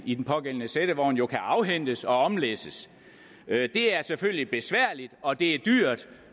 i den pågældende sættevogn jo kan afhentes og omlæsses det er selvfølgelig besværligt og det er dyrt